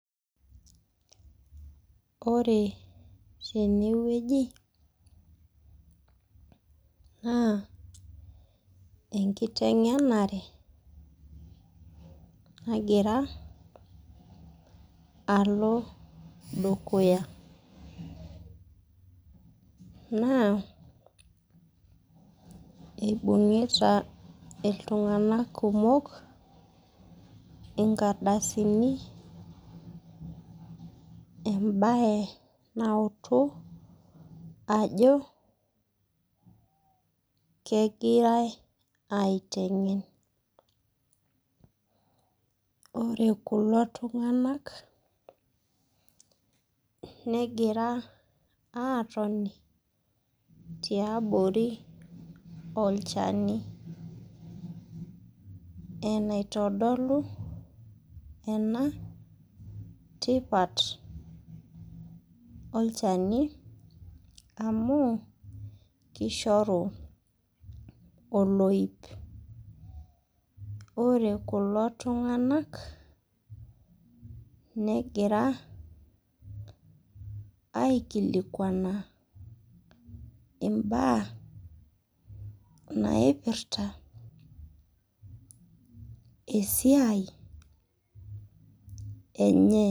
Ore teneweji naa enkitengenare nagira alo dukuya. Naa eibungita iltunganak kumok inkrdasini ,embae nautu ajo kegirae eitengen. Ore kulo tunganak negira aatoni tiabori olchani .Enaitodolu ena tipat olchani amu kishoru oloip. Ore kulo tunganak negira aikilikwana mbaa naipirta esiai enye.